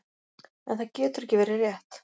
En það getur ekki verið rétt.